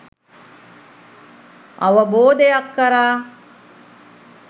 අවබෝධයක් කරා